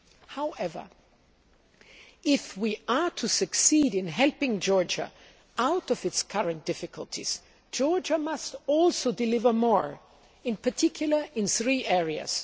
However, if we are to succeed in helping Georgia out of its current difficulties, Georgia must also deliver more, in particular, in three areas.